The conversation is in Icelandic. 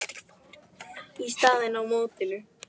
er staðan í mótinu.